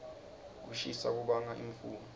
kushisa kubanga imfula